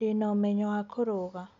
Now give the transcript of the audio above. Ndĩna ũmenyo wa kũruga